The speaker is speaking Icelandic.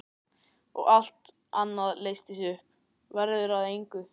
Og allt annað leysist upp, verður að engu.